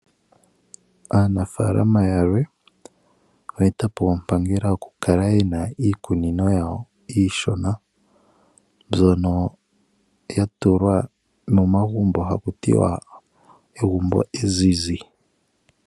Aanafaalama yalwe oye eta po ompangela yokukala ye na iikunino yawo iishona mbyono ya tulwa momagumbo haku tiwa "egumbo ezizi".